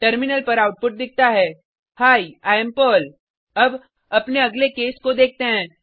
terminal पर output दिखता है ही आई एएम पर्ल अब अपने अगले केस को देखते हैं